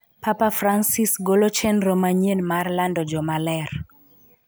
Papa Francis golo chenro manyien mar lando jomaler